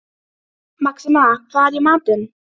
Síra Sigurður þjónaði fyrir altari ásamt föður sínum.